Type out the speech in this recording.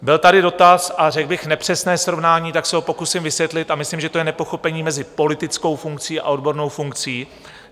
Byl tady dotaz, a řekl bych nepřesné srovnání, tak se ho pokusím vysvětlit a myslím, že to je nepochopení mezi politickou funkcí a odbornou funkcí.